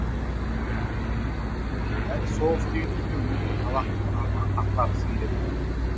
бәрі соғыс деген сөзбен өзінің салақтығын ақтағысы келеді